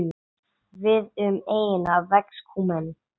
Víða um eyjuna vex kúmen.